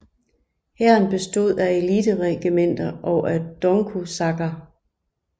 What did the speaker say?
Hæren bestod af eliteregimenter og af Donkosakker